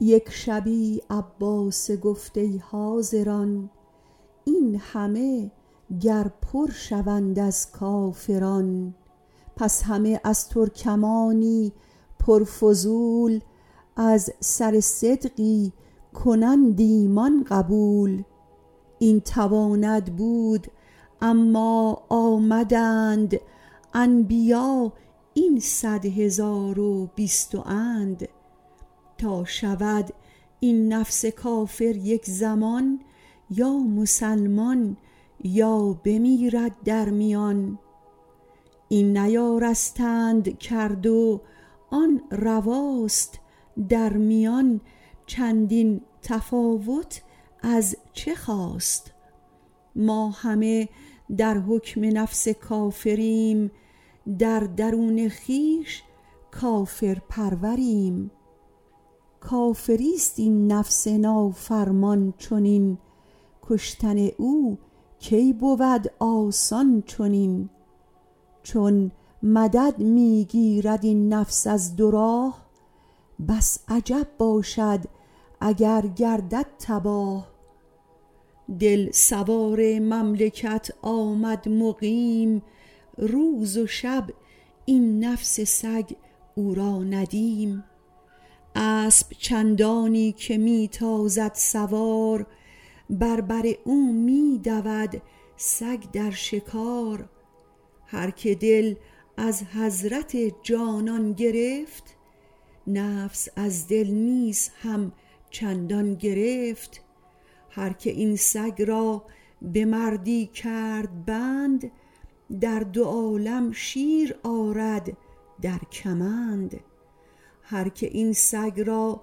یک شبی عباسه گفت ای حاضران این همه گر پر شوند از کافران پس همه از ترکمانی پر فضول از سر صدقی کنند ایمان قبول این تواند بود اما آمدند انبیا این صد هزار و بیست و اند تا شود این نفس کافر یک زمان یا مسلمان یا بمیرد در میان این نیارستند کرد و آن رواست در میان چندین تفاوت از چه خاست ما همه در حکم نفس کافریم در درون خویش کافر پروریم کافریست این نفس نافرمان چنین کشتن او کی بود آسان چنین چون مدد می گیرد این نفس از دو راه بس عجب باشد اگر گردد تباه دل سوار مملکت آمد مقیم روز و شب این نفس سگ او را ندیم اسب چندانی که می تازد سوار بر بر او می دود سگ در شکار هرک دل از حضرت جانان گرفت نفس از دل نیز هم چندان گرفت هرک این سگ را به مردی کرد بند در دو عالم شیرآرد در کمند هرک این سگ را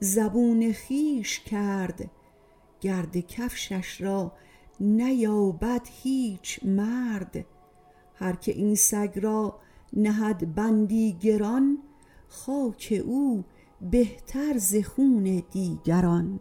زبون خویش کرد گرد کفشش را نیابد هیچ مرد هرک این سگ را نهد بندی گران خاک او بهتر ز خون دیگران